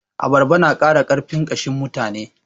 Abarba na ƙara ƙarfin ƙashin mutane.